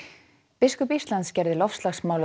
biskup Íslands gerði loftslagsmál að